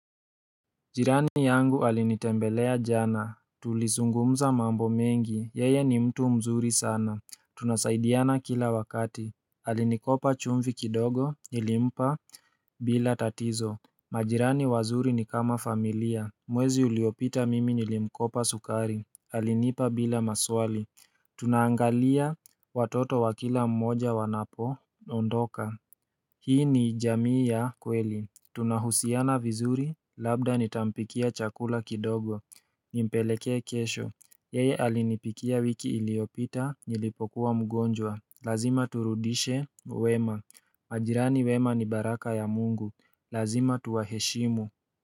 Jirani yangu alinitembelea jana Tulizungumza mambo mengi, yeye ni mtu mzuri sana Tunasaidiana kila wakati Alinikopa chumvi kidogo, nilimpa bila tatizo majirani wazuri ni kama familia Mwezi uliopita mimi nilimkopa sukari Alinipa bila maswali Tunaangalia watoto wa kila mmoja wanapo ondoka Hii ni jamii ya kweli Tunahusiana vizuri, labda nitampikia chakula kidogo Nimpeleke kesho Yeye alinipikia wiki iliyopita, nilipokuwa mgonjwa Lazima turudishe, wema majirani wema ni baraka ya mungu Lazima tuwaheshimu.